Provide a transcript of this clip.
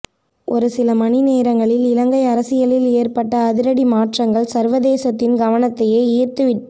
ஒருசில மணி நேரங்களில் இலங்கை அரசியலில் ஏற்பட்ட அதிரடி மாற்றங்கள் சர்வதேசத்தின் கவனத்தையே ஈர்த்துவிட்